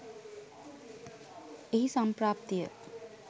එහි සම්ප්‍රාප්තිය